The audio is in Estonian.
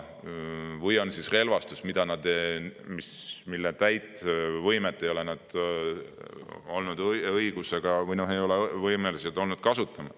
Või on siis saadetud relvastus, mille täit võimet nad ei ole olnud võimelised kasutama.